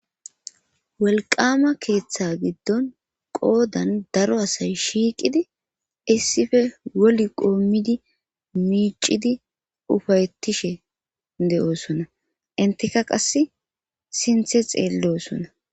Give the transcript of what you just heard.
Wolqama keeththa giddon qoodan daro asay shiiqidi issife wol qoommidi miicidi ufayetishe de'oosona inteka qas sinthe xeellosona.